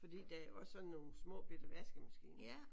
Fordi der er jo også sådan nogle små bette vaskemaskiner